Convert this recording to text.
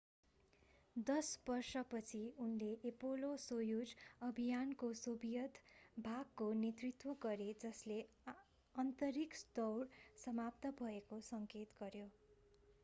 दश बर्षपछि उनले एपोलो-सोयुज अभियानको सोभियत भागको नेतृत्व गरे जसले अन्तरिक्ष दौड समाप्त भएको सङ्केत गर्यो